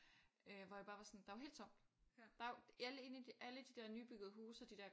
Øh hvor jeg bare var sådan der er jo helt tomt der jo alle inde i alle de der nybyggede huse og de der